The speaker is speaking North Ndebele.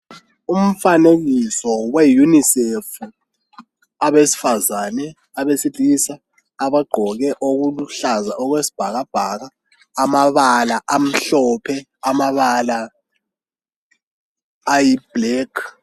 Umfanekiso weunisefu abesifazane abesilisa abagqoke okuluhlaza okwesibhakabhaka amabala amhlophe amabala amnyama.